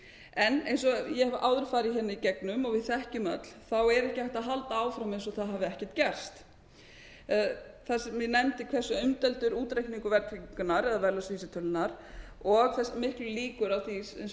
en eins og ég hef áður farið í gegnum og við þekkjum öll þá er ekki hægt að halda áfram eins og það hafi ekkert gerst það sem ég nefndi hversu umdeildur útreikningur verðtryggingarinnar eða verðlagsvísitölunnar og þessar miklu líkur á því